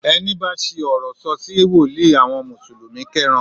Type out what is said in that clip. Ẹni bá ṣi ọ̀rọ̀ sọ̀ sí wòlíì àwọn mùsùlùmí kẹ́ran